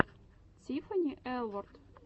тиффани элворд